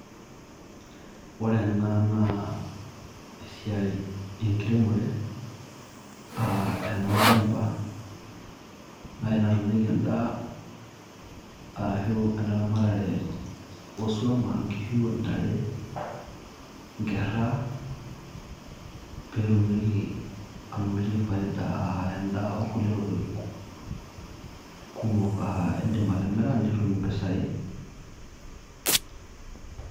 Ore ena naa esiai enkiremore, ah enolchamba, nai natumieki endaa ashu eneramatare oswam ashu nkishu, ntare, nkerra, petumieki anotie faida ah endaa onkulie tokiting' kumok, ah idim atimira nitum impisai.